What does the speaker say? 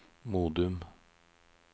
Modum